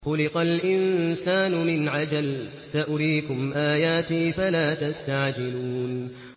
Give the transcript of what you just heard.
خُلِقَ الْإِنسَانُ مِنْ عَجَلٍ ۚ سَأُرِيكُمْ آيَاتِي فَلَا تَسْتَعْجِلُونِ